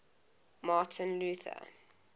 martin luther